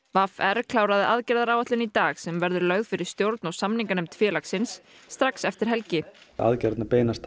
v r kláraði aðgerðaráætlun í dag sem verður lögð fyrir stjórn og samninganefnd félagsins strax eftir helgi aðgerðirnar beinast